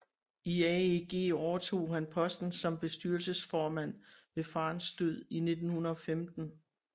I AEG overtog han posten som bestyrelsesformand ved farens død i 1915